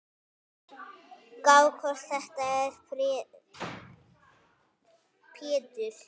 Gá hvort þetta er Pétur.